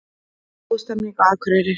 Góð stemning á Akureyri